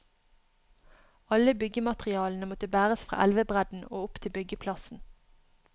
Alle byggematerialene måtte bæres fra elvebredden og opp til byggeplassen.